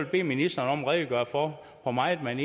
bede ministeren om at redegøre for hvor meget man